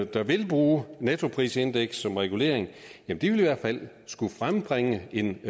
der vil bruge nettoprisindeks som regulering i hvert fald skulle frembringe en